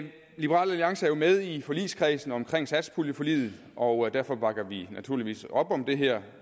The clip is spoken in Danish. liberal alliance er jo med i forligskredsen omkring satspuljeforliget og derfor bakker vi naturligvis op om det her